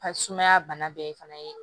Ka sumaya bana bɛɛ fana ye